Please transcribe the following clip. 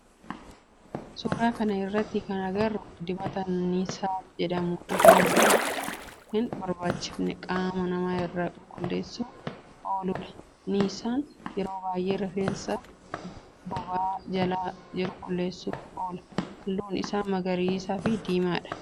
Suuraa kana irratti kana agarru dibata niissaa jedhamu rifeensa hin barbaachifne qaama nama irraa qulqulleessuf ooludha. Niissaan yeroo baayyee rifeensa boba'aa jala jiru qulqulleessuf oola. Halluu isaa magariisa fi diimadha.